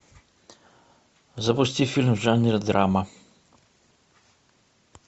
запусти фильм в жанре драма